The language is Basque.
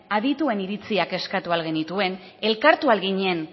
adituen iritziak eskatu ahal genituen elkartu ahal ginen